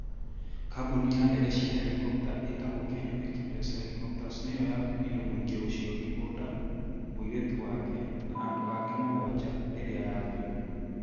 Kambuni ya ndege cia helikopta ĩtagwo Kenya Express Helicopters nĩ yo yakuire mũingĩ ũcio Gikunda, mũirĩtu wake, na andũ angĩ mũgwanja . rĩrĩa yagũire.